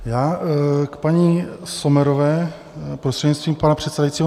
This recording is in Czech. Já k paní Sommerové, prostřednictvím pana předsedajícího.